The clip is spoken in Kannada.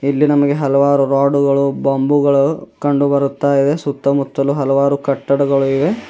ಇಲ್ಲಿ ನಮಗೆ ಹಲವಾರು ರಾಡುಗಳು ಬಂಬುಗಳು ಕಂಡುಬರುತ್ತಾಯಿದೆ ಸುತ್ತಮುತ್ತಲು ಹಲವಾರು ಕಟ್ಟಡಗಳು ಇವೆ.